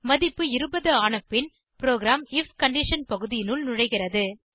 மதிப்பு 20 ஆன பின் ப்ரோகிராம் ஐஎஃப் கண்டிஷன் பகுதியினுள் நுழைகிறது